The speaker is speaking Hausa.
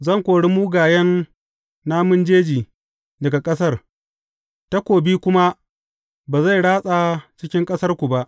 Zan kori mugayen namun jeji daga ƙasar, takobi kuma ba zai ratsa cikin ƙasarku ba.